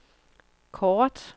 kort